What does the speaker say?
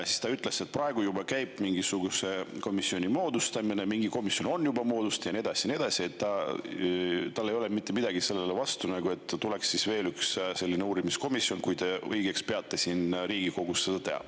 Siis ta ütles, et praegu juba käib mingisuguse komisjoni moodustamine, mingi komisjon on juba moodustatud ja nii edasi ja nii edasi ning tal ei ole mitte midagi selle vastu, et tuleb veel üks uurimiskomisjon, kui Riigikogu peab õigeks seda teha.